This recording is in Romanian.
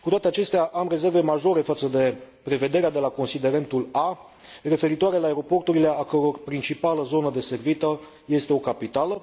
Cu toate acestea, am rezerve majore față de prevederea de la considerentul A, referitoare la aeroporturile a căror principală zonă deservită este o capitală.